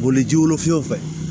Boliji wolofiw fɛ